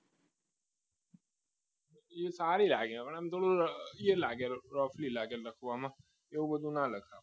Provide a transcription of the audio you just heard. એ સારી લાગે આમ થોડું એ લાગે રફલી લાગે લખવામાં એવું બધું ના લખાય